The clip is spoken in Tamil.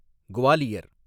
குவாலியர்